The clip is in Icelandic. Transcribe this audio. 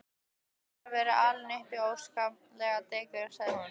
Þú hefur verið alinn upp við óskaplegt dekur sagði hún.